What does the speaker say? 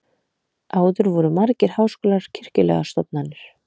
Áður voru margir háskólar kirkjulegar stofnanir.